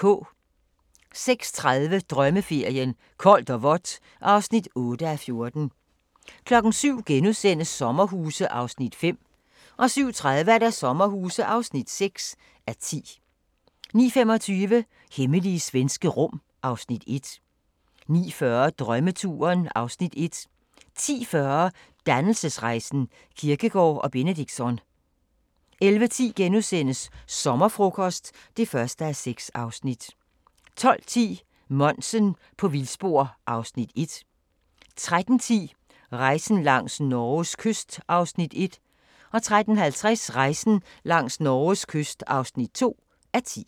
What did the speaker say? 06:30: Drømmeferien: Koldt og vådt (8:14) 07:00: Sommerhuse (5:10)* 07:30: Sommerhuse (6:10) 09:25: Hemmelige svenske rum (Afs. 1) 09:40: Drømmeturen (Afs. 1) 10:40: Dannelsesrejsen – Kierkegaard og Benedictsson 11:10: Sommerfrokost (1:6)* 12:10: Monsen på vildspor (Afs. 1) 13:10: Rejsen langs Norges kyst (1:10) 13:50: Rejsen langs Norges kyst (2:10)